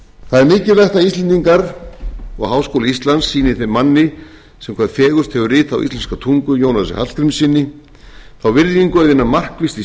er mikilvægt að íslendingar og háskóli íslands sýni þeim manni sem hvað fegurst hefur ritað á íslenska tungu jónasi hallgrímssyni þá virðingu að vinna markvisst í